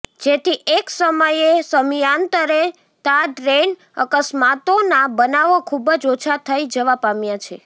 જેથી એક સમયે સમયાંતરે તાં ટ્રેન અકસ્માતોના બનાવો ખુબ જ ઓછા થઈ જવા પામ્યા છે